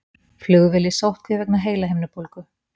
Flugvél í sóttkví vegna heilahimnubólgu